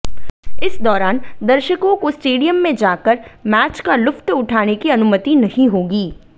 इस दौरान दर्शकों को स्टेडियम में जाकर मैच का लुत्फ उठाने की अनुमति नहीं होगी